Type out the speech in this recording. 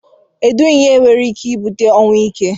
edu ihe nwere ike ibute ọnwụ ike?